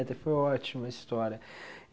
Até foi ótima a história.